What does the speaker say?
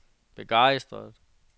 begejstret